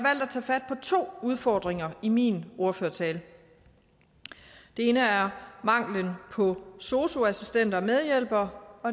at tage fat på to udfordringer i min ordførertale den ene er manglen på sosu assistenter og medhjælpere og